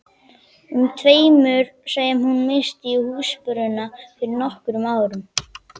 um tveimur sem hún missti í húsbruna fyrir nokkrum árum.